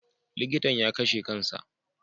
Likitan ya kashe kan sa.